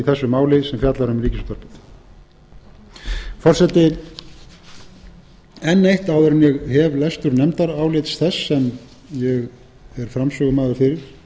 í þessu máli sem fjallar um ríkisútvarpið forseti enn eitt áður en ég hef lestur nefndarálits þess sem ég er framsögumaður fyrir